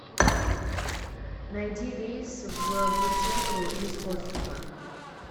найди рейс в вытегру из острова